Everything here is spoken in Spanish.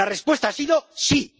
La respuesta ha sido ¡sí!